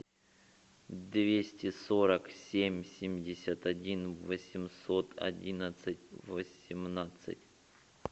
двести сорок семь семьдесят один восемьсот одиннадцать восемнадцать